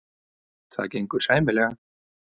Það gengur sæmilega.